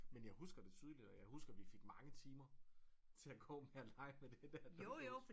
Men jeg husker det tydeligt og jeg husker vi fik mange timer til at gå med at lege med det der dukkehus